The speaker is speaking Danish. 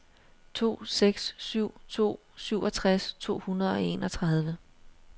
to seks syv to syvogtres to hundrede og enogtredive